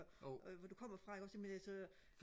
hvor du kommer fra ikke også ikke jamen altså